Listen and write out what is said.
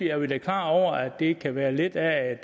er vi da klar over at det kan være lidt af